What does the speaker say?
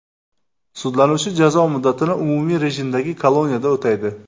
Sudlanuvchi jazo muddatini umumiy rejimdagi koloniyada o‘taydi.